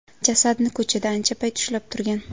Jasadni ko‘chada ancha payt ushlab turgan.